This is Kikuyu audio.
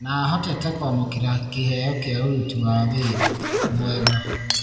Nahotete kũamũkĩra kĩheo kĩa ũruti wa wĩra. mwega.